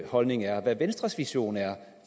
holdning er hvad venstres vision er